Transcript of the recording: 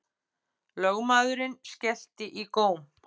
Lögmaðurinn skellti í góm.